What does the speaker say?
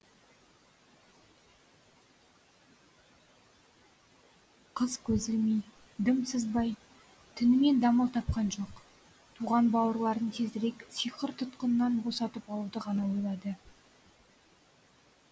қыз көз ілмей дым сызбай түнімен дамыл тапқан жоқ туған бауырларын тезірек сиқыр тұтқынынан босатып алуды ғана ойлады